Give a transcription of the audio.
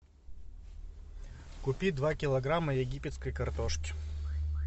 купи два килограмма египетской картошки